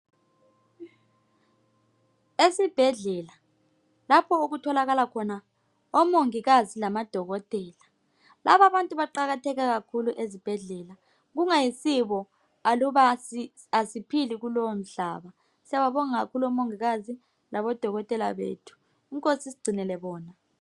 Esibhedlela lapho okutholakala khona omongikazi lamadokotela. Lababantu baqakatheke kakhulu ezibhedlela. Kungayisibo aluba asiphili kulomhlaba. Siyababonga kakhulu omongikazi labodokotela bethu inkosi isigcinele bona.